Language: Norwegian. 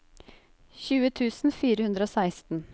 tjue tusen fire hundre og seksten